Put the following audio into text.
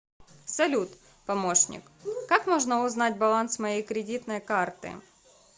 салют помощник как можно узнать баланс моей кредитной карты